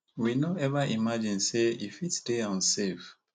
we no eva imagine say e fit stay unsafe